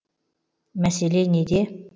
мәселе неде